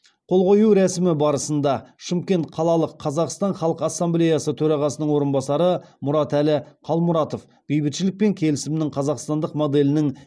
қол қою рәсімі барысында шымкент қалалық қазақстан халық ассамблеясы төрағасының орынбасары мұратәлі қалмұратов бейбітшілік пен келісімнің қазақстандық моделінің